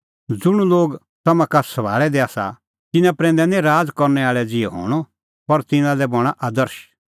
ज़ुंण लोग तम्हां का सभाल़ै दै आसा तिन्नां प्रैंदै निं राज़ करनै आल़ै ज़िहै हणअ पर तिन्नां लै बणां आदर्श